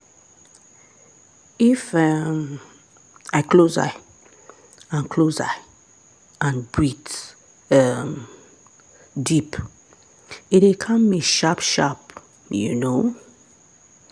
if um i close eye and close eye and breathe um deep e dey calm me sharp-sharp you know.